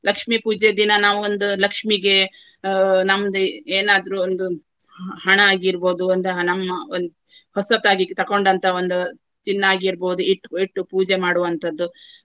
ಲಕ್ಷ್ಮಿ ಪೂಜೆ ದಿನ ನಾವು ಒಂದು ಲಕ್ಷ್ಮಿಗೆ ಆ ನಮ್ದು ಏನಾದ್ರೂ ಒಂದು ಹಣ ಆಗಿರ್ಬಹುದು ಒಂದು ನಮ್ಮ ಒಂದ್~ ಹೊಸತಾಗಿ ತಕೊಂಡಂತಹ ಒಂದು ಚಿನ್ನ ಆಗಿರ್ಬಹುದು ಇಟ್ಟ್~ ಇಟ್ಟು ಪೂಜೆ ಮಾಡುವಂತಹದ್ದು.